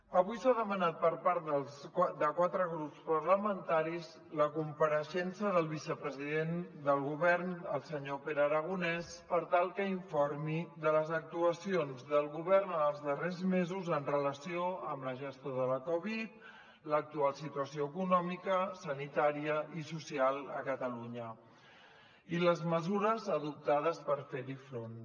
avui s’ha demanat per part dels quatre grups parlamentaris la compareixença del vicepresident del govern el senyor pere aragonès per tal que informi de les actuacions del govern en els darrers mesos en relació amb la gestió de la covid l’actual situació econòmica sanitària i social a catalunya i les mesures adoptades per fer hi front